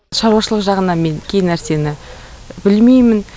шаруашылық жағынан мен кей нәрсені білмеймін